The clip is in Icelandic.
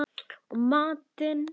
Og matinn